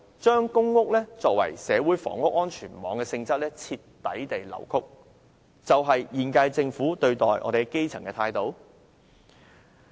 將公屋作為社會房屋安全網的性質徹底地扭曲，難道便是現屆政府對待基層的態度？